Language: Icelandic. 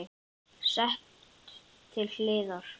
Sett til hliðar.